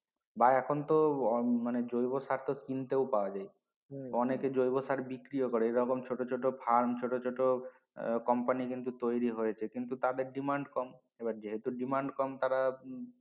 বা এখন তো অন মানে জৈব সার তো কিনতে ও পাওয়া যায় অনেকে জৈব সার বিক্রিও করে এবং ছোট ছোট farm ছোট ছোট আহ company কিন্তু তৈরি হয়েছে কিন্তু তাদের demand কম এবার যেহেতু Demand কম তারা